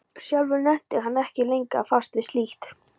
Sjálfur nennti hann ekki lengur að fást við slíkt.